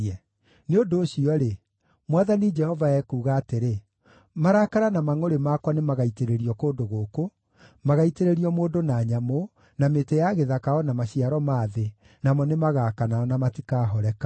“ ‘Nĩ ũndũ ũcio-rĩ, Mwathani Jehova ekuuga atĩrĩ: Marakara na mangʼũrĩ makwa nĩmagaitĩrĩrio kũndũ gũkũ, magaaitĩrĩrio mũndũ na nyamũ, na mĩtĩ ya gĩthaka o na maciaro ma thĩ, namo nĩmagaakana na matikahoreka.